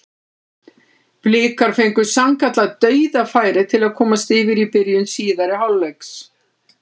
Blikar fengu sannkallað dauðafæri til að komast yfir í byrjun síðari hálfleiks.